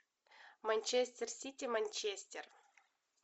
манчестер сити манчестер